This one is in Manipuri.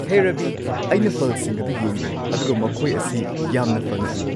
ꯍꯦ ꯔꯕꯤ, ꯑꯩꯅ ꯐꯜꯁꯤꯡ ꯑꯗꯨ ꯌꯦꯡꯂꯦ ꯑꯗꯨꯒ ꯃꯈꯣꯏ ꯑꯁꯤ ꯌꯥꯝꯅ ꯐꯅ ꯎꯏ꯫